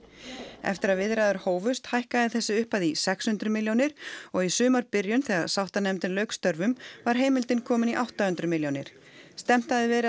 eftir að viðræður hófust hækkaði þessi upphæð í sex hundruð milljónir og í sumarbyrjun þegar sáttanefndin lauk störfum var heimildin komin í átta hundruð milljónir stefnt hafði verið